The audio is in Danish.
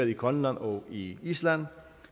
i grønland og i island